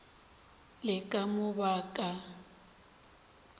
le ka mo ba ka